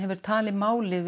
telur málið